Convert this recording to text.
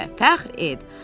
Özünlə fəxr et.